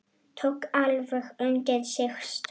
Tók alveg undir sig stökk!